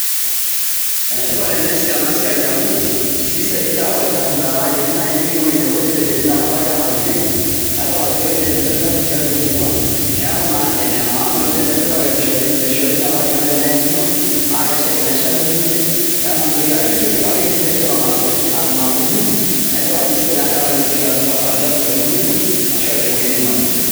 Enetipat eneesi ena siai amu kisaidia olchafu metaa kiti nai nepiki ewuei nebo nepejori inakata ake e napikieki nae idol ajo kedoiyo nye olchafu tiatua emurua. Neeku naa ene maana oleng' tenepiki kake mishori mishori metaanyuno amu teneyanyuno neshaki naa neeku mitoki apejoroyu kake inipejoo eton a kunyi neeku edol ajo sidai tenkaraki mintoki atum olchafu te murua ino ashu a te wuei nimanya.